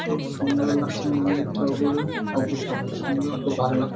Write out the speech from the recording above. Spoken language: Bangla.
খুব সুন্দর লাগছে মন্দিরটা ওপরে। ওপরটা খুব সুন্দর খুব ভালো লা--